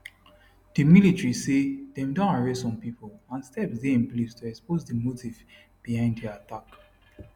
di military say dem don arrest some pipo and steps dey in place to expose di motive behind di attack